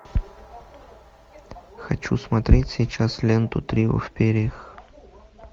хочу смотреть сейчас ленту трио в перьях